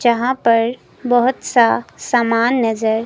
यहां पर बहुत सा सामान नजर--